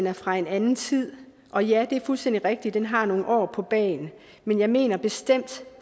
er fra en anden tid og ja det er fuldstændig rigtigt den har nogle år på bagen men jeg mener bestemt